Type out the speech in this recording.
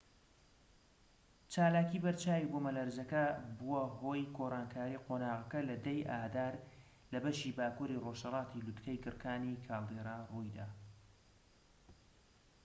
چالاکی بەرچاوی بوومەلەرزە کە بووە هۆی گۆڕانکاری قۆناغەکە لە 10 ی ئادار لە بەشی باکووری ڕۆژهەڵاتی لووتکەی گڕکانی کالدێرا ڕوویدا